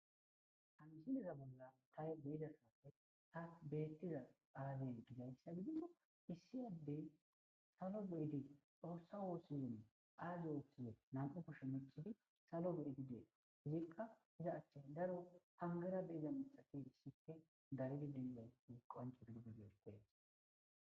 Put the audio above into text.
Ha misiniza bolla taye beyida safe haak bettiza aazey gidayssa gidido isiyaddey salo be7ydi dhoossa woosizin aaze ooththize nam7u kusho mecifi salo be7ydidee hizikka iza achche daro hangera be7ida mixati issipfe garidi dilayti qanco gidigidedees